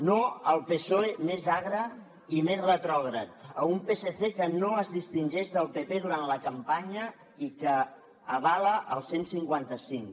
no al psoe més agre i més retrògrad a un psc que no es distingeix del pp durant la campanya i que avala el cent i cinquanta cinc